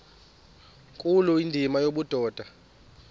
nkulu indima yobudoda